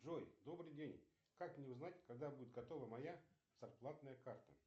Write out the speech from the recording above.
джой добрый день как мне узнать когда будет готова моя зарплатная карта